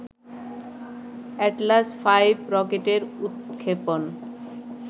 Atlas five রকেটের উৎক্ষেপণ